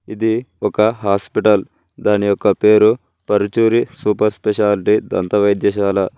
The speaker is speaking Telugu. ఇది ఒక హాస్పిటల్ దాని యొక్క పేరు పరుచూరి సూపర్ స్పెషాలిటీ దంత వైద్యశాల.